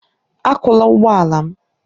Akụla ụgbọ ala m!